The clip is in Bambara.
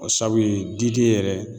O sabu ye diden yɛrɛ